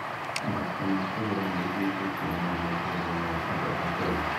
Mathako ma kũgũrũ nĩ mahingĩtio mũno mũtũũrĩre-inĩ wa andũ a Kenya.